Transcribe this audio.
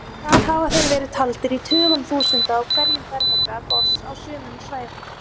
Þar hafa þeir verið taldir í tugum þúsunda á hverjum fermetra botns á sumum svæðum.